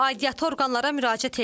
Aidiyyatı orqanlara müraciət eləyib.